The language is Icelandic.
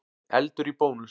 Eldur í Bónus